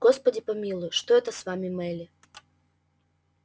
господи помилуй что это с вами мелли